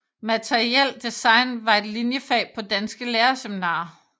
Materiel design var et linjefag på danske lærerseminarier